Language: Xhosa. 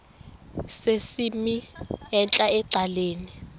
sesimnini entla ecaleni